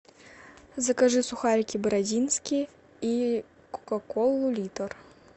закажи сухарики бородинские и кока колу литр